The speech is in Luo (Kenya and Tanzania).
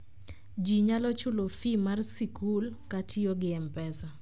ji nyalo chulo fee mar sikul katiyogi mpesa